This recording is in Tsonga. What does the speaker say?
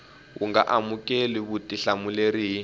wu nga amukeli vutihlamuleri hi